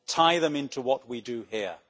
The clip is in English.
tie them into what we do here.